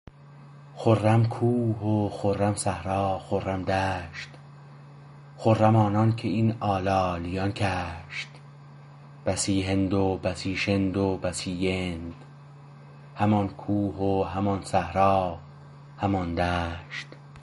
خرم کوه و خرم صحرا خرم دشت خرم آنانکه این آلالیان کشت بسی هند و بسی شند و بسی یند همان کوه و همان صحرا همان دشت